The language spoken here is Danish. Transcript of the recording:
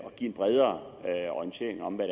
give en bredere orientering om hvad